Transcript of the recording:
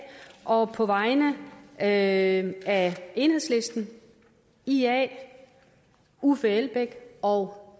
og jeg på vegne af af enhedslisten ia uffe elbæk og